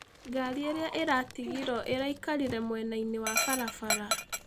Garĩ ĩrĩa ĩratĩgĩrwo ĩraĩkarĩre mwenaĩnĩ wa barabara.